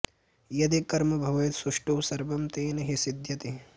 यदि कर्म भवेत् सुष्ठु सर्वं तेन हि सिद्ध्यति